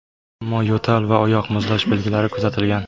Ammo yo‘tal va oyoq muzlash belgilari kuzatilgan.